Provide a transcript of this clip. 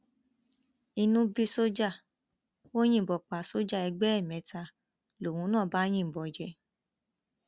inú bí sójà ò yìnbọn pa sójà ẹgbẹ ẹ mẹta lòun náà bá yìnbọn jẹ